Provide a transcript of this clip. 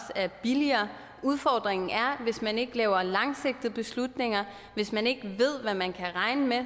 er billigere udfordringen er at hvis man ikke laver langsigtede beslutninger og hvis man ikke ved hvad man kan regne med